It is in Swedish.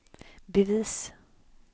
bevis